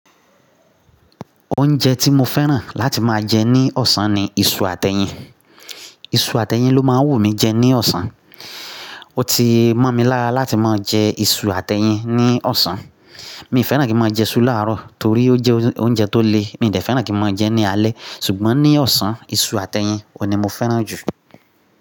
Oúnjẹ tí mo fẹ́ràn láti máa jẹ ní ọ̀sán ni iṣu àtẹ́yin. Iṣu àtẹ́yin ló máa ń wù mí jẹ ní ọ̀sán. Ó ti mọ́ mi lára láti máa jẹ iṣu àtẹ́yin ní ọ̀sán. Mi ò fẹ́ràn kí máa jẹ iṣu láàárọ̀ torí ó jẹ́ oúnjẹ tó le, mi ò dẹ fẹ́ràn kí máa jẹ ẹ́ ní alẹ́ ṣùgbọ́n ní ọ̀sán iṣu àtẹ́yin òní mo fẹ́ràn jù.